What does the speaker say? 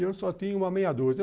E eu só tinha uma meia dúzia.